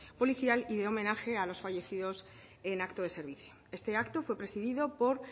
policial y de homenaje a los fallecidos en acto de servicio este acto fue presidido por